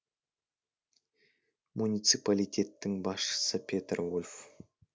муниципалитеттің басшысы петер вольф